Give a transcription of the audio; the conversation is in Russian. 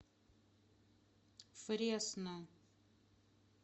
фресно